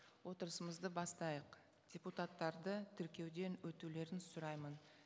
отырысымызды бастайық депутаттарды тіркеуден өтулерін сұраймын